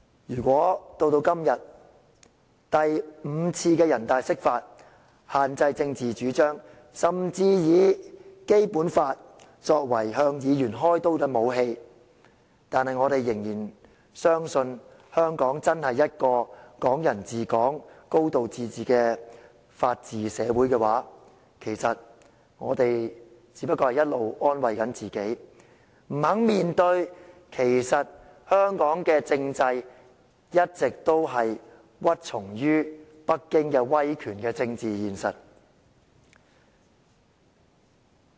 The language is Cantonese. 如果到了今天，我們眼見北京以第五次人大釋法限制政治主張，甚至以《基本法》作為向議員開刀的武器，但仍然相信香港真是一個"港人治港"、"高度自治"的法治社會，我們只是一直安慰自己，不敢面對香港的體制其實一直屈從於北京威權的政治現實。